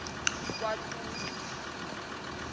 kwatutu